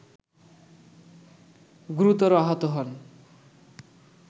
গুরুতর আহত হন